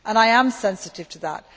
I am sensitive to that.